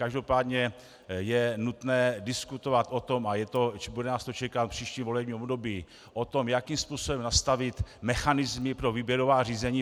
Každopádně je nutné diskutovat o tom, a bude nás to čekat v příštím volebním období, o tom, jakým způsobem nastavit mechanismy pro výběrová řízení.